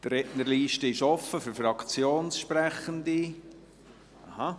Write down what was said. Die Rednerliste ist offen für die Fraktionssprechenden.